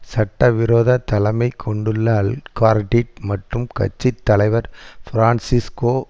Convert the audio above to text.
சட்டவிரோத தலைமை கொண்டுள்ள ஆல்கார்டிட் மற்றும் கட்சி தலைவர் பிரான்சிஸ்கோ